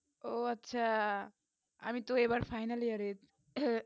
উহ আচ্ছা আমি তো এই বারে final year এর